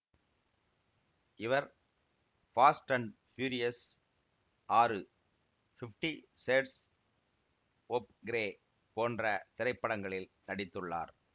இவர் Fast and Furious ஆறு fifty shades of grey போன்ற திரைப்படங்களில் நடித்துள்ளார்